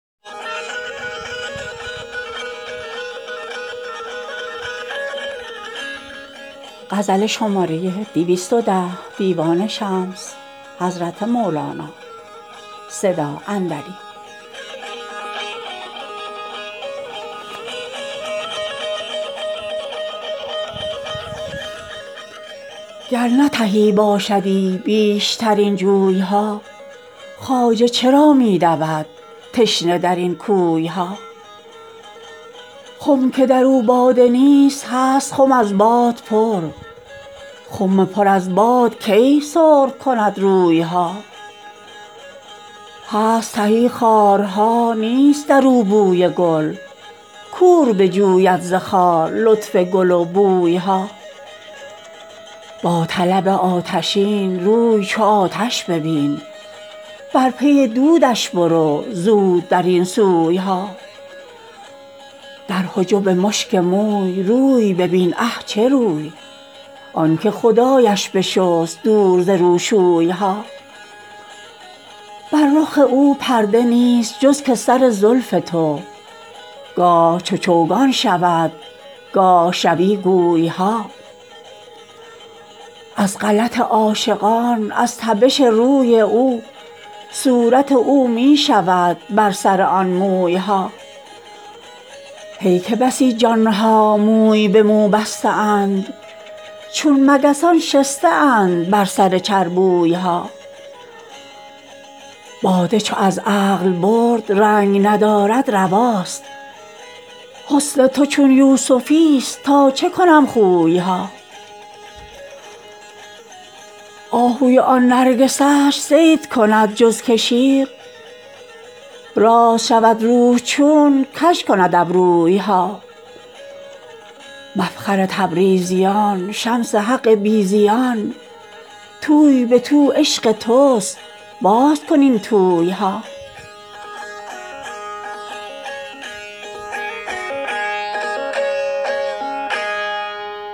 گر نه تهی باشدی بیشتر این جوی ها خواجه چرا می دود تشنه در این کوی ها خم که در او باده نیست هست خم از باد پر خم پر از باد کی سرخ کند روی ها هست تهی خارها نیست در او بوی گل کور بجوید ز خار لطف گل و بوی ها با طلب آتشین روی چو آتش ببین بر پی دودش برو زود در این سوی ها در حجب مشک موی روی ببین اه چه روی آنک خدایش بشست دور ز روشوی ها بر رخ او پرده نیست جز که سر زلف او گاه چو چوگان شود گاه شود گوی ها از غلط عاشقان از تبش روی او صورت او می شود بر سر آن موی ها هی که بسی جان ها موی به مو بسته اند چون مگسان شسته اند بر سر چربوی ها باده چو از عقل برد رنگ ندارد رواست حسن تو چون یوسفی ست تا چه کنم خوی ها آهوی آن نرگسش صید کند جز که شیر راست شود روح چون کژ کند ابروی ها مفخر تبریزیان شمس حق بی زیان توی به تو عشق توست باز کن این توی ها